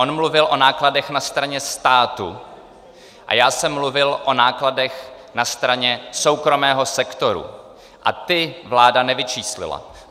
On mluvil o nákladech na straně státu a já jsem mluvil o nákladech na straně soukromého sektoru a ty vláda nevyčíslila.